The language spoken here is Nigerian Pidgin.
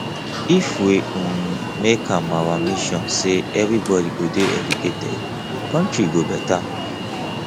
if we um make am our mission say everybody go dey educated country go better